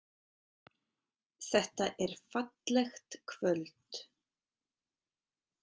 Þetta er fallegt kvöld.